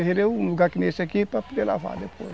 Terreiro é um lugar que nesse aqui para poder lavar depois.